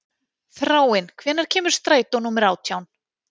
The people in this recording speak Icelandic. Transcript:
Þráinn, hvenær kemur strætó númer átján?